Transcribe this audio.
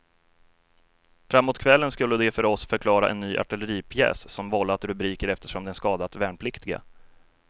Framåt kvällen skulle de för oss förklara en ny artilleripjäs som vållat rubriker eftersom den skadat värnpliktiga.